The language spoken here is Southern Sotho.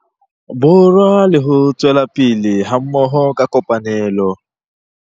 Borwa le ho tswela pele hammoho ka kopanelo.